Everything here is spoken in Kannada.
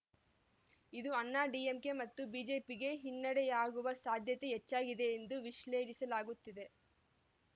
ಇದು ಅಣ್ಣಾ ಡಿಎಂಕೆ ಮತ್ತು ಬಿಜೆಪಿಗೆ ಹಿನ್ನಡೆಯಾಗುವ ಸಾಧ್ಯತೆಯೇ ಹೆಚ್ಚಾಗಿದೆ ಎಂದು ವಿಶ್ಲೇಗಿಸಲಾಗುತ್ತಿದೆ